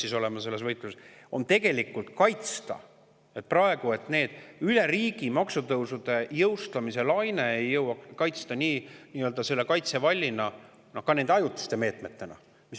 on tegelikult kaitsta praegu, et see üle riigi maksutõusude jõustamise laine ei jõuaks nendeni, nii-öelda kaitsevalliga, ka nende ajutiste meetmetega.